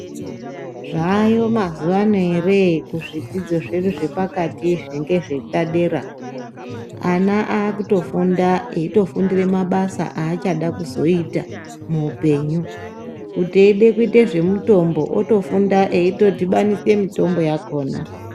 Zvayo mazuva ano ere kuzvidzidzo zvedu zvepakatizvi ngezvepadera. Ana akutofunda eitofundire mabasa achadakuzoita muhupenyu. Kuti eide kuite zvemitombo otofunda eitodhibanisa mitombo yakona.